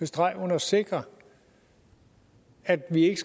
streg under sikre at vi ikke